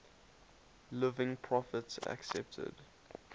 living prophets accepted